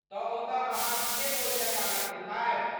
तऽ ओतऽ अहाँ ठीके भोजनक आनन्द उठायब।